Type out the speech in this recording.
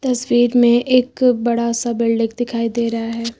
तस्वीर में एक बड़ा सा बिल्डिंग दिखाई दे रहा है।